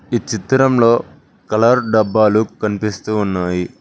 ఈ చిత్రంలో కలర్ డబ్బాలు కనిపిస్తూ ఉన్నాయి.